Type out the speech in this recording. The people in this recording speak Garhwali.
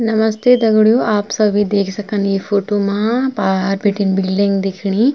नमस्ते दगड़ियों आप सभी देख सकन ये फोटो मा पार बीटिन बिल्डिंग दिखणी।